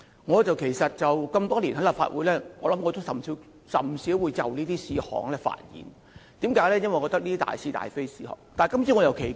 我加入立法會多年，甚少就這些事項發言，因為我覺得這些是大是大非的事，但今次卻很奇怪。